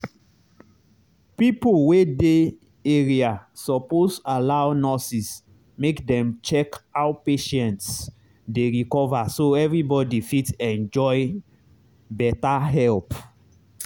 pipo wey dey area suppose allow nurses make dem check how patients dey recover so everybody fit enjoy better help.